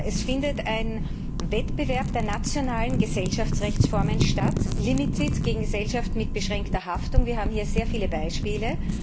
Es findet ein Wettbewerb der nationalen Gesellschaftsrechtsformen statt Limited gegen Gesellschaft mit beschränkter Haftung wir haben hier sehr viele Beispiele.